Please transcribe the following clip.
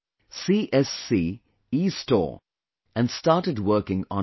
CSC EStore, and started working online